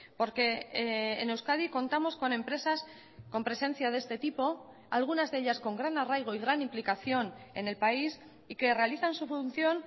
porque en euskadi contamos con empresas con presencia de este tipo algunas de ellas con gran arraigo y gran implicación en el país y que realizan su función